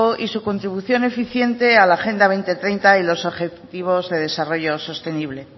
y su contribución eficiente a la agenda dos mil treinta y los ejecutivos de desarrollo sostenible